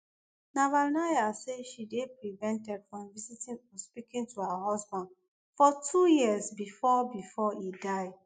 navalnaya say she dey prevented from visiting or speaking to her husband for two years bifor bifor e die